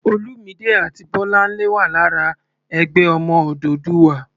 Olúmidé àti Bọ́láńlé wà lára "Ẹgbẹ́ Ọmọ Odùduwà."